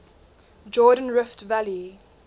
jordan rift valley